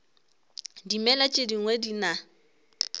dimela tše dingwe di na